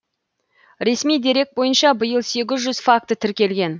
ресми дерек бойынша биыл сегіз жүз факті тіркелген